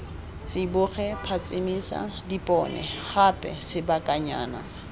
tsiboge phatsimisa dipone gape sebakanyana